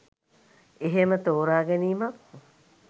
එහෙම තෝරාගැනීමක්